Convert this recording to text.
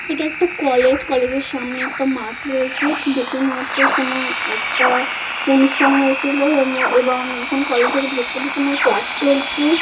এটা একটা college college এর সামনে একটা মাঠ রয়েছে। দেখে মনে হচ্ছে কোন একটা অনুষ্ঠান হয়েছিল এবং এখন কলেজ এর ভেতরে তোমার ক্লাস চলছে।